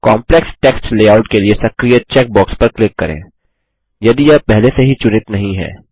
complex text layout के लिए सक्रिय चेक बॉक्स पर क्लिक करें यदि यह पहले से ही चुनित नहीं है